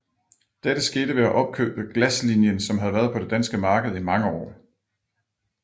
Dette skete ved at opkøbe Glaslinien som havde været på det danske marked i mange år